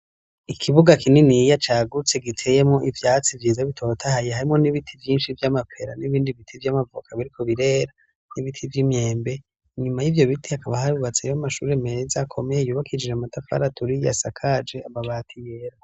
Ikibuga kininiya cagutse giteyemo ivyatsi vyiza bitotahaye harimo n'ibiti vyinshi vy'amapera n'ibindi biti vy'amavoka biriko birera, n'ibiti vy'imyembe. Inyuma y'ivyo biti akaba hari bubatseyo mashuri meza akomeye yubakijije amatafari aturiye asaka amabati yera.